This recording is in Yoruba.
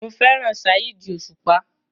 Mo fẹ́ràn Saheed Osupa.